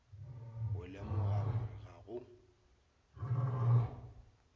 go lemoga gore ga go